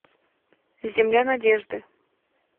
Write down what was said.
земля надежды